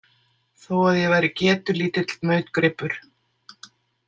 Þó að ég væri getulítill nautgripur.